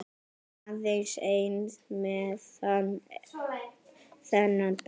Aðeins ein messa þennan dag.